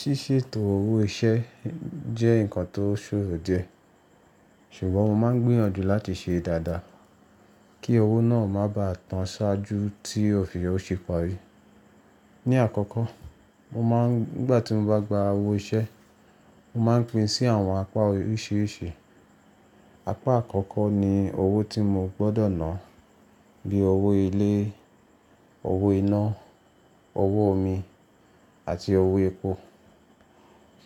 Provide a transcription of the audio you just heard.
Ṣíṣètò owó ìṣe jẹ́ ǹkan tó ṣòro diẹ. Ṣùgbọ́n mo máa ń gbìyànjú láti ṣe dáadáa kí owó náà má bà tán ṣáájú tí òfìyọ̀ ṣe parí. Ni àkọ́kọ́, mo máa ń nígbà tí mo bá gba owó ìṣe, mo máa ń pin sí àwọn apá oríṣiríṣi. Apá àkọ́kọ́ ni owó tí mo gbọ́dọ̀ ná bíi owó ilé, owó iná, owó omi àti owó epo.